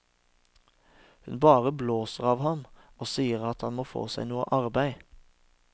Hun bare blåser av ham og sier at han må få seg noe arbeid.